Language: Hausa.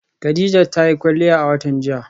Khadijat ta yi kwalliya a watan jiya.